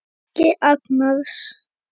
Helgi Agnars.